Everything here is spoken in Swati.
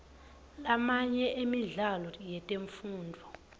lamanye emidlalo yetemfundvo